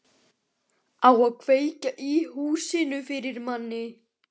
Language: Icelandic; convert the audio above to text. Á að kveikja í húsinu fyrir manni!